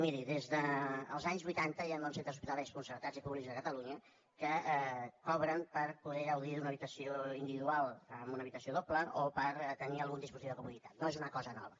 miri des dels anys vuitanta hi ha molts centres hospitalaris concertats i públics de catalunya que cobren per poder gaudir d’una habitació individual amb una habitació doble o per tenir algun dispositiu de comoditat no és una cosa nova